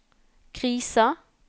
krisa